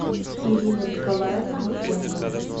ирина николаевна бутенко